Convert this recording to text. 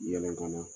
Yɛlɛ ka na